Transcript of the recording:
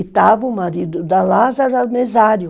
E estava o marido da Lazára, que era o mesário.